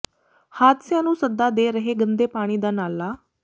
ਹਾਦਸਿਆਂ ਨੂੰ ਸੱਦਾ ਦੇ ਰਿਹੈ ਗੰਦੇ ਪਾਣੀ ਦਾ ਨਾਲਾ